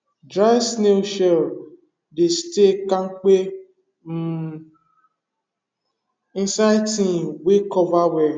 dry snail shell dey stay kampe um inside tin wey cover well